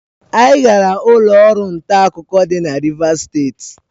Anyị gara ụlọ ọrụ nta akụkọ dị na Rivas steeti.